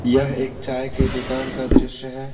यह एक चाय के दुकान का दृश्य है।